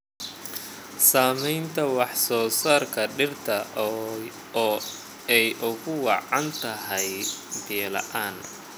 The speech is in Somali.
Saamaynta wax-soo-saarka dhirta oo ay ugu wacan tahay biyo la'aan.